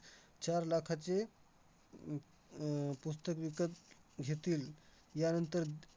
चार लाखाचे हम्म आह पुस्तक विकत घेतील. यानंतर द